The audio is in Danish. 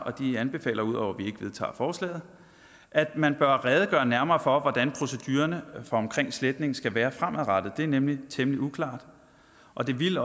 og de anbefaler ud over at vi ikke vedtager forslaget at man bør redegøre nærmere for hvordan procedurerne i sletning skal være fremadrettet det er nemlig temmelig uklart og det ville